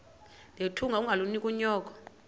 nethunga ungalinik unyoko